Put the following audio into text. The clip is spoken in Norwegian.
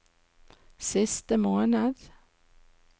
siste måned